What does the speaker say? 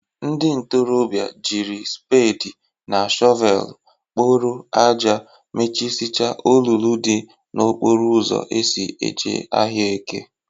Ndị ntorọbịa jiri spedị na shọvelụ kporo aja mechịsịicha olulu dị n'okporo ụzọ eso e ji ahịa eke.